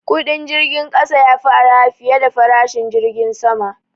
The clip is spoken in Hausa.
Kudin jirgin kasa ya fi arha fiye da farashin jirgin sama.